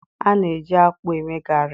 a na-eji akpu eme garri